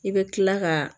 I bɛ kila ka